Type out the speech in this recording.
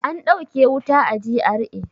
An dauke wuta a GRA.